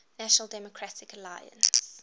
national democratic alliance